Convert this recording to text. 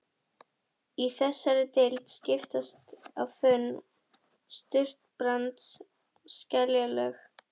Í þessari deild skiptast á þunn surtarbrands- og skeljalög.